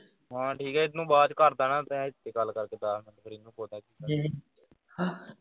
ਹਾਂ ਠੀਕ ਐ ਇਹਨੂੰ ਬਾਅਦ ਵਿਚ ਕਰ ਦੇਣਾ ਤੈ ਹਿਥੇ ਗੱਲ ਕਰਕੇ ਦਸ ਮਿੰਟ ਫਿਰ ਇਹਨੂੰ